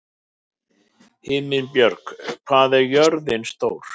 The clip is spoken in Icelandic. Himinbjörg, hvað er jörðin stór?